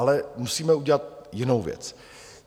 Ale musíme udělat jinou věc.